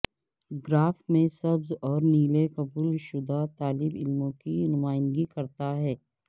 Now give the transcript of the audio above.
graph میں سبز اور نیلے قبول شدہ طالب علموں کی نمائندگی کرتا ہے